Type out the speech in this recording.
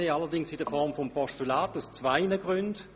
Dies allerdings in Form eines Postulats, und zwar aus zwei Gründen.